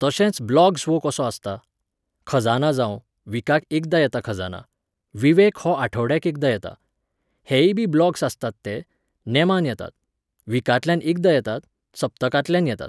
तशेंच ब्लॉग्स वो कसो आसता, खजाना जावं, विकाक एकदां येता खजाना, विवेक हो आठवड्याक एकदां येता, हेयी बी ब्लॉग्स आसतात ते, नेमान येतात, विकांतल्यान एकदां येतात, सप्तकांतल्यान येतात.